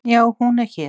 Já, hún er hér.